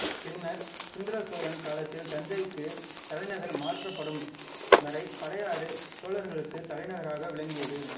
பின்னர் சுந்தர சோழன் காலத்தில் தஞ்சைக்கு தலைநகர் மாற்றப்படும் வரை பழையாறை சோழர்களுக்கு தலைநகராக விளங்கியது